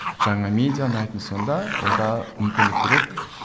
жаңа медиа ұнайтын сонда онда мүмкіндік береді